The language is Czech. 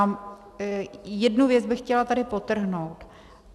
A jednu věc bych chtěla tady podtrhnout.